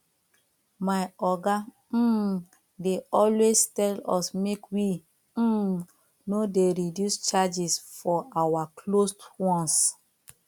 my oga um dey always tell us make we um no dey reduce charges for our closed ones